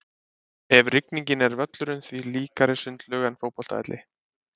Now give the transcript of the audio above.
Eftir rigningu er völlurinn því líkari sundlaug en fótboltavelli.